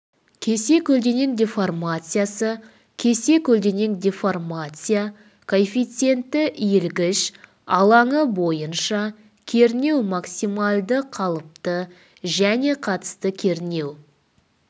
кесе көлденең деформациясы кесе көлденең деформация коэффициенті иілгіш алаңы бойынша кернеу максималды қалыпты және қатысты кернеу